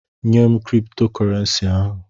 Nyem Kristo korensi ahụ!